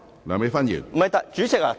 梁美芬議員，請發言。